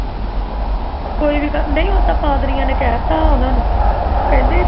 ਕੋਈ ਵੀ ਗੱਲ ਨਹੀਂ ਉਹ ਪਾਦਮੀਆਂ ਨੇ ਕਹਿ ਤਾਂ ਉਨ੍ਹਾਂ ਨੂੰ ਕੈ ਤਾ